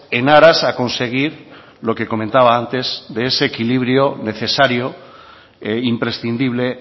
en aras a conseguir lo que comentaba antes de ese equilibrio necesario e imprescindible